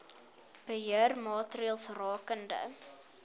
beheer maatreëls rakende